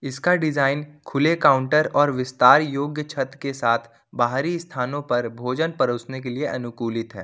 इसका डिजाइन खुले काउंटर और विस्तार योग्य छत के साथ बाहरी स्थानों पर भोजन परोसने के लिए अनुकूलित है।